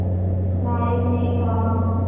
नायक ने कहा